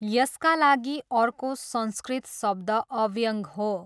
यसका लागि अर्को संस्कृत शब्द अव्यङ्ग हो।